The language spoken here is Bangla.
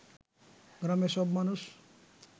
গ্রামের সব মানুষ